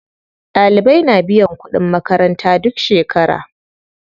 Ɗalibai na biyan kuɗin makaranta duk shekera.